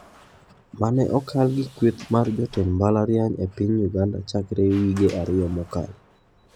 Mane okal gi kweth mar jotend mbalariany e piny Uganda chakre wige ariyo mokalo.